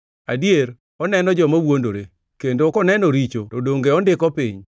Adier, oneno joma wuondore; kendo koneno richo, to donge ondiko piny?